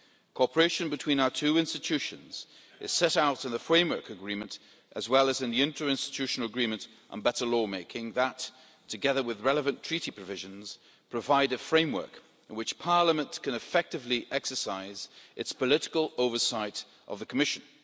Cooperation between our two institutions is set out in the Framework Agreement and in the Inter Institutional Agreement on Better Law Making, which, together with relevant Treaty provisions, provide a framework in which Parliament can effectively exercise its political oversight of the Commission.